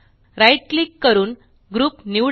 right click click करून group निवडा